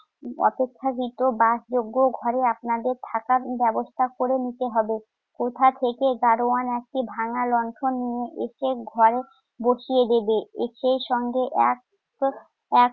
অপেক্ষাকৃত বাসযোগ্য ঘরের আপনাদের থাকার ব্যবস্থা করে নিতে হবে। কোথা থেকে গাড়োয়ান একটি ভাঙা লণ্ঠন নিয়ে এসে ঘরে বসিয়ে দেবে। সেই সঙ্গে এক~ এক